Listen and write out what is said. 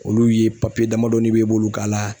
Olu ye damadɔni i b'e bolo k'a la